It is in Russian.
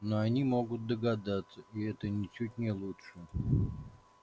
но они могут догадаться и это ничуть не лучше